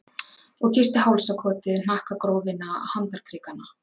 Og kyssti hálsakotið, hnakkagrófina, handarkrikana.